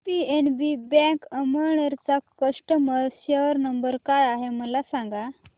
PNB bank Amalner चा customer care number काय आहे मला सांगा